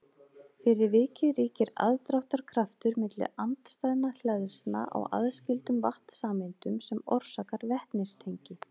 Fyrir vikið ríkir aðdráttarkraftur milli andstæðra hleðslna á aðskildum vatnssameindum sem orsakar vetnistengi.